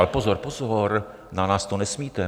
Ale pozor, pozor, na nás to nesmíte.